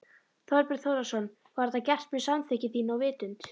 Þorbjörn Þórðarson: Var þetta gert með samþykki þínu og vitund?